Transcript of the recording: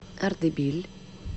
ардебиль